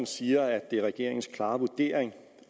siger at det er regeringens klare vurdering